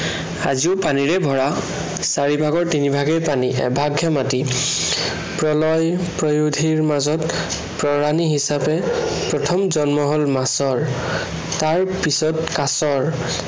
আজিও পানীৰে ভৰা। চাৰিভাগৰ তিনিভাগেই পানী। এভাগহে মাটি। প্ৰলয় প্ৰয়াধিৰ মাজত তৰাণি হিচাপে প্ৰথম জন্ম হয় মাছ। তাৰ পিছত কাছৰ।